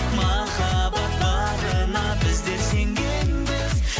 махаббат барына біздер сенгенбіз